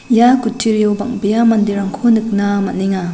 ia kutturio bang·bea manderangko nikna man·enga.